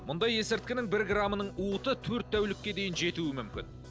мұндай есірткінің бір граммының уыты төрт тәулікке дейін жетуі мүмкін